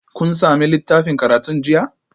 Kun sami littafin karatun jiya?